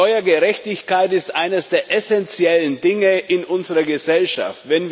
Steuergerechtigkeit ist eines der essenziellen Dinge in unserer Gesellschaft.